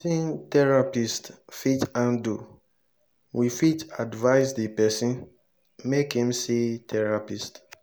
if ma wetin therapist fit handle we fit advice di person make im see therapist